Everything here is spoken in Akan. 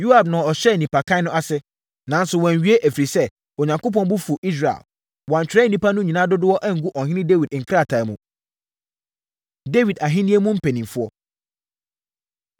Yoab na ɔhyɛɛ nnipakan no ase, nanso wanwie, ɛfiri sɛ, Onyankopɔn bo fuu Israel. Wɔantwerɛ nnipa no nyinaa dodoɔ angu Ɔhene Dawid nkrataa mu. Dawid Ahennie Mu Mpanimfoɔ